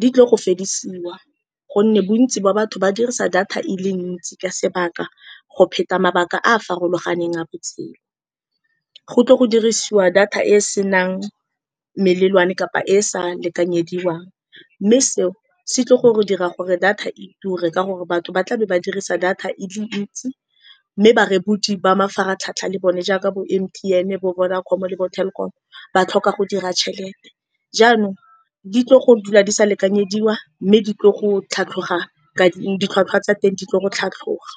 di tlile go fedisiwa, ka gonne bontsi jwa batho ba dirisa data e le ntsi ka sebaka go pheta mabaka a a farologaneng a botshelo. Go tlile go dirisiwa data e e senang melelwane kapa e e sa lekanyediwang, mme seo se tlile go dira gore data e ture ka gore batho ba tlabe ba dirisa data e le ntsi. Mme barekudi ba mafaratlhatlha le bone, jaaka bo-M_T_N, bo-Vodacom-o le bo-Telkom-o, ba tlhoka go dira tšhelete. Jaanong di tlile go dula di sa lekanyediwa, mme di tlile go tlhatlhoga ka di . Ditlhwatlhwa tsa teng di tlile go tlhatlhoga.